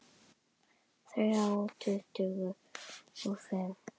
Þrjá tuttugu og fimm